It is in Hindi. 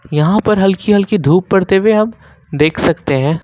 यहां पर हल्की हल्की धूप पड़ते हुए अब देख सकते है।